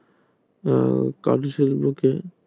উম কাজু শিল্পকে